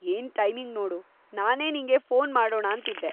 ಏನ್‌ ಟೈಮಿಂಗ್‌ ನೋಡು, ನಾನೇ ನಿಂಗೆ ಫೋನ್‌ ಮಾಡೋಣಾಂತಿದ್ದೆ.